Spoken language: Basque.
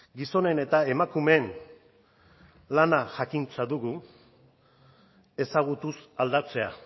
gizonen eta emakumeen lana jakintza dugu ezagutuz aldatzea